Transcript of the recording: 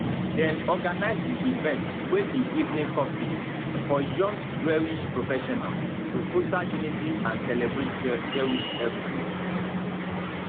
dem organise di event wey be evening cocktail for young jewish professionals to foster unity and celebrate jewish heritage